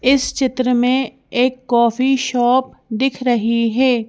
इस चित्र में एक कॉफी शॉप दिख रही है।